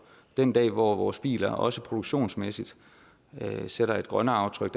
den dag hvor vores biler også produktionsmæssigt sætter et grønnere aftryk